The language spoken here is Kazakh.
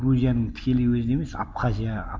грузияның тікелей өзіне емес абхазия